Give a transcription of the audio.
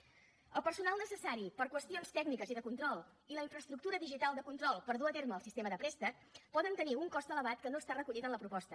el personal necessari per a qüestions tècniques i de control i la infraestructura digital de control per dur a terme el sistema de préstec poden tenir un cost elevat que no està recollit en la proposta